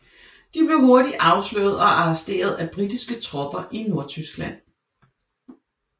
De blev hurtigt afsløret og arresteret af britiske tropper i Nordtyskland